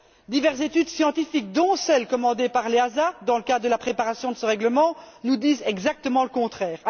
Diverses études scientifiques, dont celle commandée par l'EASA dans le cadre de la préparation de ce règlement, nous disent exactement le contraire.